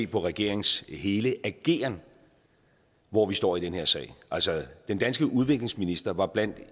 på regeringens hele ageren hvor vi står i den her sag altså den danske udviklingsminister var blandt